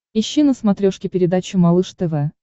ищи на смотрешке передачу малыш тв